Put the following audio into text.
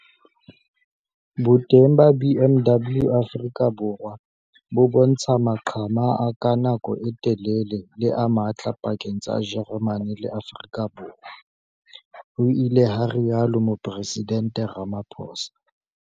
"Boteng ba BMW Afrika Borwa bo bontsha maqhama a ka nako e telele le a matla pakeng tsa Jeremane le Afrika Borwa," ho ile ha rialo Moporesidente Ramaphosa.